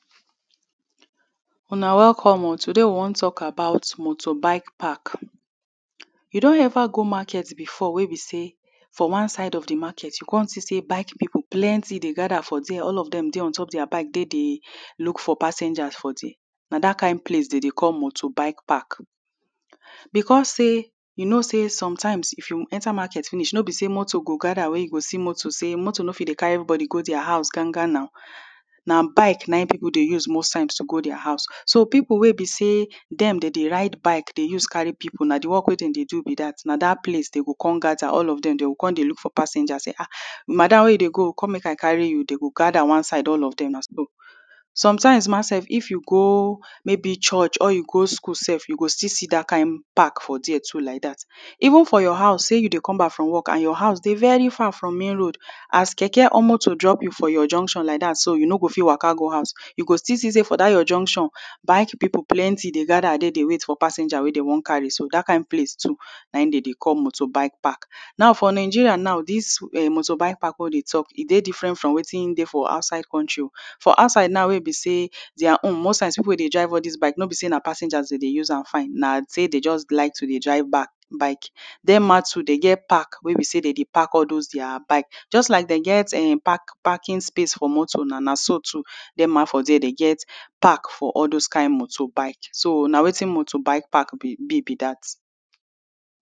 Una welcome o. Today, we wan talk about motorbike park. You don ever go market before wey be say, for one side of di market, you come see say bike people plenty dey gather for dia; all of dem dey untop dia bike dey dey look for passengers for dia. Na dat kain place dem dey call motorbike park. Because say, you know say sometimes, if you enter market finish, no be say motor go gather, wey you go see motor, say motor no fit dey carry everybody go dia house gan gan na; na bike na im people dey use most times to go dia house. So people wey be say dem dey dey ride bike, dey dey use carry people, na di work wey dem dey do be dat, na dat place dem go come gather — all of dem. Dem go come dey look for passengers say, "Ah! Madam, wey you dey go o? Come make I carry you." Dey go gather one side, all of them as. Sometimes ma sef, if you go, maybe church, or you go school sef, you go still see dat kain park for dia too like dat. Even for your house, say you dey come back from work, your house dey very far from main road, as keke or motor drop you for your junction like dat so, you no go fit waka go house, you go still see say for dat your junction, bike people plenty, dey gather dey, dey wait for passengers wey dey wan carry so. Dat kain place too na im dey dey call motorbike park. Now, for Nigeria now, dis um motorbike park wey we dey talk, e dey different from wetin dey for outside county o. For outside now wey e be say, dia own, most times, people wey dey drive all dis bike, no be say na passengers dey dey use am find; na dey dey just like to dey drive bike. Dem ma too dey get park wey be say dey dey park all dis dia bike. Just like dey get um park, parking space for motor na, na so too dem ma for dia, dey get park for all those kain motorbike. So na wetin motorbike park be be be dat.